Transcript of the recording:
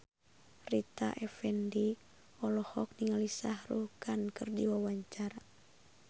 Rita Effendy olohok ningali Shah Rukh Khan keur diwawancara